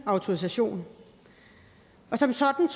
autorisation som sådan